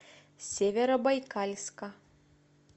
северобайкальска